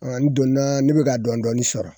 A n donna ne bɛ ka dɔɔnin dɔɔnin sɔrɔ